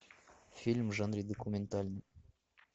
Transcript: фильм в жанре документальный